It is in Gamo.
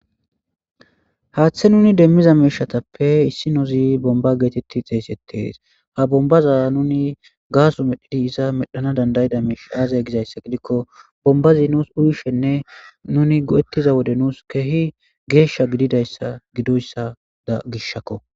haaththe nuni demmiza meeshatappe issi nozi bomba geetetti xeesettees ha bombaza nuni gaaso medhidi iza medhana dandayida meesh aazay gizayssa gidikko bombazi nuus uyishenne nuni go7ettiza wode nuus keehi geeshsha gididayssa gidoyssa da gishshakko